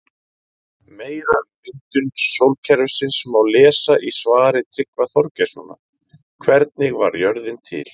Meira um myndun sólkerfisins má lesa í svari Tryggva Þorgeirssonar Hvernig varð jörðin til?